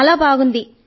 చాలా బాగుంది